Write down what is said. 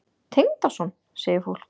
Tengdason? segir fólk.